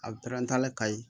A bɛ pɛrɛn ka ɲi